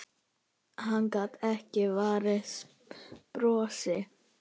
Hann gat ekki varist brosi.